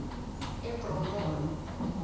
ebronghoro